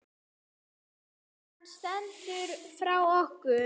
Hann stelst frá okkur.